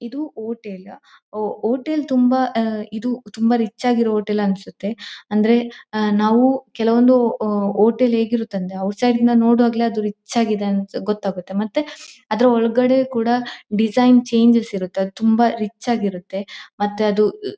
ಇದು ಹೋಟೆಲ್ ಹೋಹ್ಹ್ ಹೋಟೆಲ್ ತುಂಬಾ ಆ ಇದು ತುಂಬಾ ರಿಚ್ ಆಗಿರೋ ಹೋಟೆಲ್ ಅನ್ಸುತ್ತೆ ಅಂದ್ರೆ ಆ ನಾವು ಕೆಲವೊಂದು ಹೊ ಹೋಟೆಲ್ ಹೇಗಿರುತ್ತೆ ಅಂದ್ರೆ ಔಟ್ ಸೈಡ್ ನಿಂದ ನೋಡುವಾಗಲೇ ಅದು ರಿಚ್ ಆಗಿದೆ ಅಂತ ಗೊತಾಗುತ್ತೆ ಮತ್ತೆ ಅದರ ಒಳಗಡೆ ಕೂಡ ಡಿಸೈನ್ ಚೇಂಜಸ್ ಇರುತ್ತೆ ತುಂಬಾ ರಿಚ್ ಆಗಿ ಇರುತ್ತೆ ಮತ್ತೆ ಅದು--